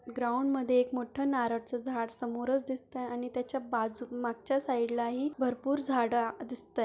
Ground मध्ये एक मोठ नारळच झाड समोरच दिसतय आणि त्याच्या बाजू मागच्या साइडला ही भरपूर झाड आ दिसतय.